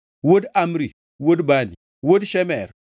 wuod Amzi, wuod Bani, wuod Shemer,